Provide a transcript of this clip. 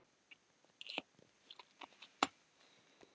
Bubba var ekki einn þeirra.